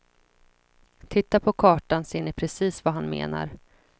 Titta på kartan ser ni precis vad han menar.